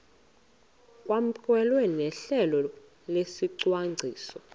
kwamkelwe nohlelo lwesicwangciso